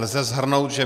Lze shrnout, že